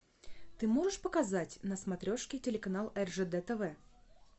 ты можешь показать на смотрешке телеканал ржд тв